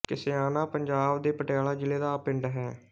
ਕਸਿਆਣਾ ਪੰਜਾਬ ਦੇ ਪਟਿਆਲਾ ਜ਼ਿਲ੍ਹਾ ਦਾ ਪਿੰਡ ਹੈ